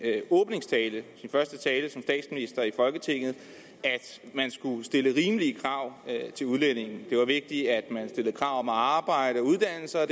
åbningstale i folketinget at man skulle stille rimelige krav til udlændinge det var vigtigt at man stillede krav om arbejde og uddannelse og